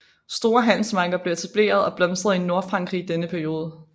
Store handelsmarkeder blev etableret og blomstrede i Nordfrankrig i denne periode